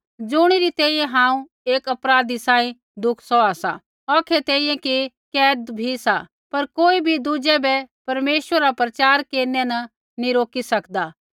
ज़ुणी री तैंईंयैं हांऊँ एक अपराधी सांही दुख सौहा सा औखै तैंईंयैं कि कैद भी सा पर कोई भी दुज़ै बै परमेश्वरा रा वचन प्रचार केरनै न रोकी नी सकदा